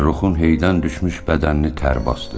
Fəxrruxun heydən düşmüş bədənini tər basdı.